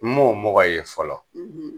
N m'o mɔgɔ ye fɔlɔ